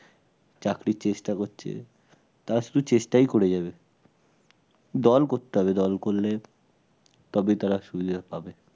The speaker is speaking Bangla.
চাকরির চেষ্টা করছে তারা শুধু চেষ্টাই করে যাবে দল করতে হবে দল করলে তবেই তারা সুবিধা পাবে।